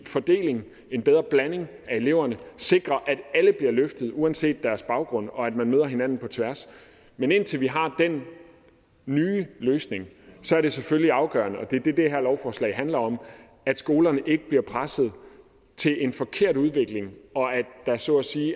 fordeling en bedre blanding af eleverne sikrer at alle bliver løftet uanset deres baggrund og at man møder hinanden på tværs men indtil vi har den nye løsning er det selvfølgelig afgørende og det er det det her lovforslag handler om at skolerne ikke bliver presset til en forkert udvikling og at der så at sige